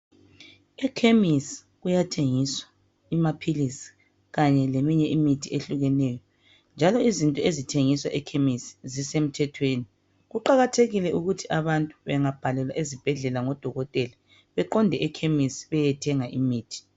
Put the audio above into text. Emakhemesi kuyathengiswa amaphilisi kanye leminye imithi ehlukeneyo njalo izinto ezithengiswa ekhemesi zisemthethweni. Kuqakathekile ukuthi abantu bengabhalelwa ezibhedlela ngodokotela beqonde ekhemesi beyethenga imithi.